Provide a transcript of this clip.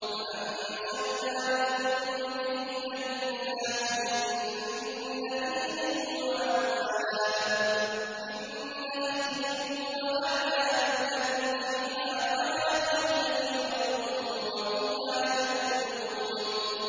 فَأَنشَأْنَا لَكُم بِهِ جَنَّاتٍ مِّن نَّخِيلٍ وَأَعْنَابٍ لَّكُمْ فِيهَا فَوَاكِهُ كَثِيرَةٌ وَمِنْهَا تَأْكُلُونَ